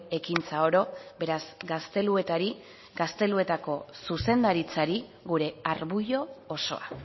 ekintza oro beraz gazteluetari gazteluetako zuzendaritzari gure arbuio osoa